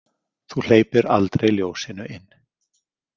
Þú hleypir aldrei ljósinu inn.